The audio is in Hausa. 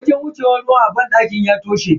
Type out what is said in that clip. Wurin wucewan ruwa a banɗakin ya toshe.